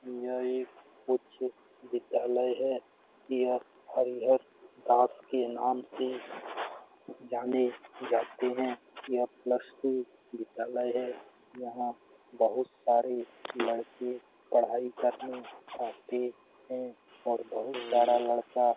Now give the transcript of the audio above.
यह एक उच्च विद्यालय है यह हरिहर दास के नाम से जाने जाते हैं यह प्लस टू विद्यालय है यहां बहुत सारे लड़के पढ़ाई करने आते हैंऔर बहुत सारा लड़का --